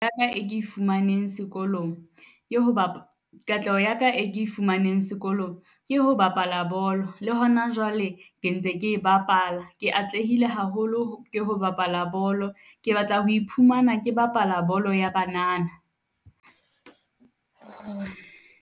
E ke e fumaneng sekolong ke ho . Katleho ya ka e ke e fumaneng sekolong ke ho bapala bolo. Le hona jwale ke ntse ke e bapala, ke atlehile haholo ke ho bapala bolo. Ke batla ho iphumana ke bapala bolo ya banana.